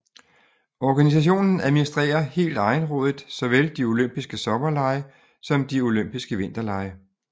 Organisationen administrerer helt egenrådigt såvel de olympiske sommerlege som de olympiske vinterlege